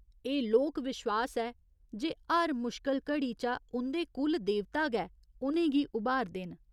एह् लोक विश्वास ऐ जे हर मुशकल घड़ी चा उं'दे कुल देवता गै उनेंगी उभारदे न।